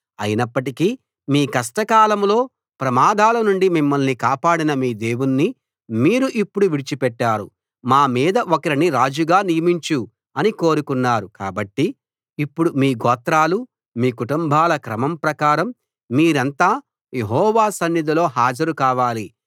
అయినప్పటికీ మీ కష్టకాలంలో ప్రమాదాల నుండి మిమ్మల్ని కాపాడిన మీ దేవుణ్ణి మీరు ఇప్పుడు విడిచిపెట్టారు మా మీద ఒకరిని రాజుగా నియమించు అని కోరుకున్నారు కాబట్టి ఇప్పుడు మీ గోత్రాలు మీ కుటుంబాల క్రమం ప్రకారం మీరంతా యెహోవా సన్నిధిలో హాజరు కావాలి